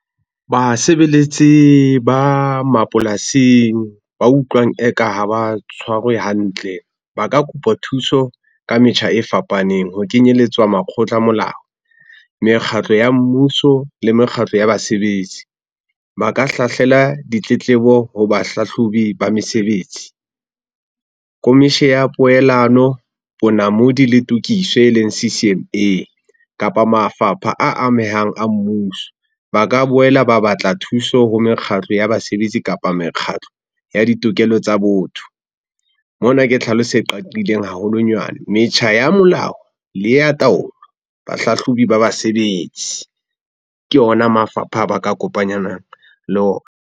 Basebeletsi ba mapolasing ba utlwang eka ha ba tshwarwe hantle ba ka kopa thuso ka metjha e fapaneng. Ho kenyelletswa makgotla a molao, mekgatlo ya mmuso le mekgatlo ya basebetsi. Ba ka hlahlela ditletlebo ho bahlahlobi ba mesebetsi, a poelano, bonamodi le tukiso eleng C_C_M_A kapa mafapha a amehang a mmuso. Ba ka boela ba batla thuso ho mekgatlo ya basebetsi kapa mekgatlo ya ditokelo tsa botho. Mona ke tlhaloso e qaqileng haholonyane. Metjha ya molao le ya taolo, bahlahlobi ba basebetsi ke ona mafapha a ba ka le ona.